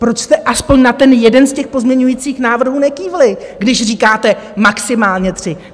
Proč jste alespoň na ten jeden z těch pozměňovacích návrhů nekývli, když říkáte maximálně tři?